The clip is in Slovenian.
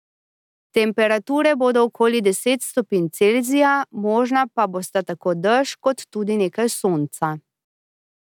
Temperature bodo okoli deset stopinj Celzija, možna pa bosta tako dež kot tudi nekaj sonca.